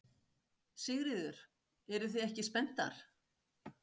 Sigríður: Eruð þið ekki spenntar?